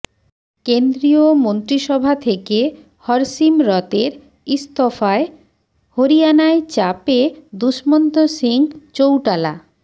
কেন্দ্রীয় মন্ত্রিসভা থেকে হরসিমরতের ইস্তফায় হরিয়ানায় চাপে দুষ্মন্ত সিং চৌটালা